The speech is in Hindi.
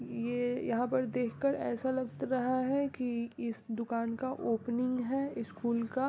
ये यहाँ पर देख कर ऐसा लग त रहा है कि इस दुकान का ओपनिंग है स्कूल का --